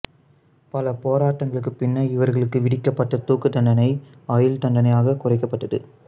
பல போராட்டங்களுக்குப் பின்னர் இவர்களுக்கு விதிக்கப்பட்ட தூக்குத் தண்டனை ஆயுள்தண்டனையாகக் குறைக்கப்பட்டது